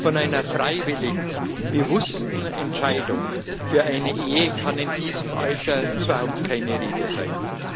Von einer freiwilligen, bewussten Entscheidung für eine Ehe kann in diesem Alter überhaupt keine Rede sein.